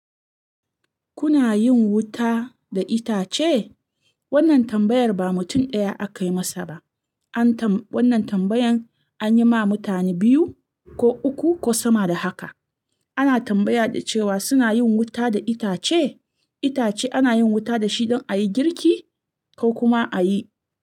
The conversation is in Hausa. Kuna yin wuta da itace? Wannan tambayar ba mutum ɗaya aka yi masa ba. An tam-- wannan tambayan an yi ma mutane biyu ko uku ko sama da haka. Ana tambaya da cewa suna yin wuta da itace? Itace ana yin wuta da shi don a yi girki ko kuma a yi.